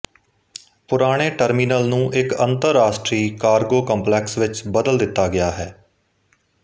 ਪੁਰਾਣੇ ਟਰਮੀਨਲ ਨੂੰ ਇੱਕ ਅੰਤਰਰਾਸ਼ਟਰੀ ਕਾਰਗੋ ਕੰਪਲੈਕਸ ਵਿੱਚ ਬਦਲ ਦਿੱਤਾ ਗਿਆ ਹੈ